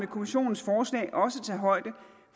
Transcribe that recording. kommissionens forslag også tager højde